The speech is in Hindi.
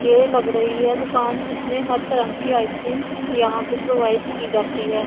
ये लग रही है दुकान किसने हर तरह की आइसक्रीम यहां पे प्रोवाइड की जाती है।